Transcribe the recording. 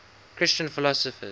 christian philosophers